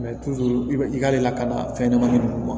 i bɛ i ka lakana fɛn ɲɛnamanin ninnu ma